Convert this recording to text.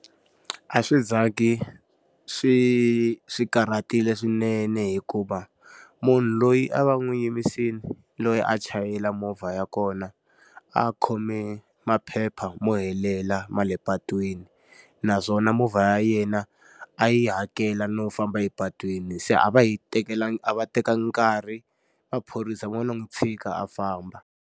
A swi za ngi swi swi karhatile swinene hikuva, munhu loyi a va n'wi yimisile loyi a chayela movha ya kona, a khome maphepha mo helela ma le patwini. Naswona movha ya yena a yi hakela no famba epatwini se a va hi a va tekekangi nkarhi maphorisa va lo n'wi tshika a famba.